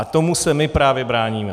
A tomu se my právě bráníme.